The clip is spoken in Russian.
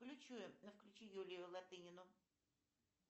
включи юлию латынину